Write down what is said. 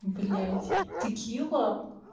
блять текила